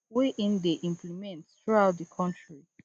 wey im dey implement throughout di kontri